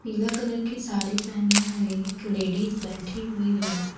पीला कलर की साड़ी पहने हुए एक लेडीज बैठी हुई है।